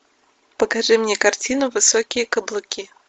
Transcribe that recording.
покажи мне картину высокие каблуки